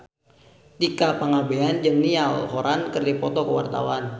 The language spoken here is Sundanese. Tika Pangabean jeung Niall Horran keur dipoto ku wartawan